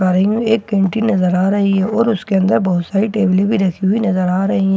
गाड़ी में एक कैंटीन नजर आ रही है और उसके अंदर बहुत सारी टैबले भी रखी हुई नजर आ रही--